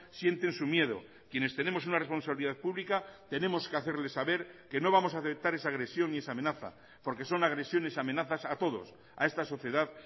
sienten su miedo quienes tenemos una responsabilidad pública tenemos que hacerles saber que no vamos a aceptar esa agresión y esa amenaza porque son agresiones y amenazas a todos a esta sociedad